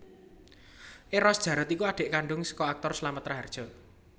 Eros Djarot iku adik kandung saka aktor Slamet Rahardjo